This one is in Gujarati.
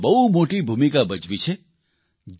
અને તેમાં બહુ મોટી ભૂમિકા ભજવી છે